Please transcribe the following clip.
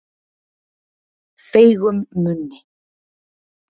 Feigum munni